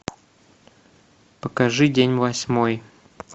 покажи день восьмой